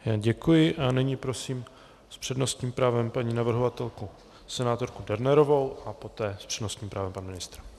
Já děkuji a nyní prosím s přednostním právem paní navrhovatelku senátorku Dernerovou a poté s přednostním právem pan ministr.